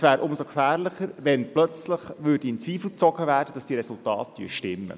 Es wäre umso gefährlicher, wenn auf einmal in Zweifel gezogen würde, ob diese Resultate stimmen.